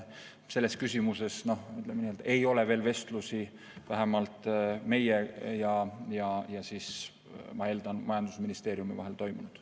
Selles küsimuses ei ole vestlusi vähemalt meie ja ma eeldan, ka majandusministeeriumi vahel veel toimunud.